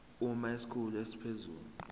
uma isikhulu esiphezulu